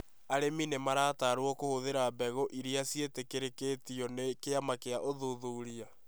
Arĩmi nĩ marataarũo mahũthĩra mbegũ iria ciĩtĩkĩrĩtio nĩ kĩama kĩa ũthuthuria.